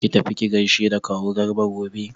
Ki tafi ki gaishe da kawu Garba gobe!